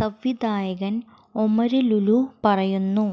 സംവിധായകന് ഒമര് ലുലു പറയുന്നു